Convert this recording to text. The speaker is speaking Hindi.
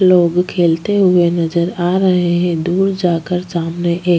लोग खेलते हुए नज़र आ रहे है दूर जाकर सामने एक--